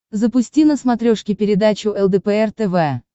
запусти на смотрешке передачу лдпр тв